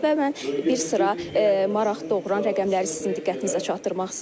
Və mən bir sıra maraq doğuran rəqəmləri sizin diqqətinizə çatdırmaq istəyirəm.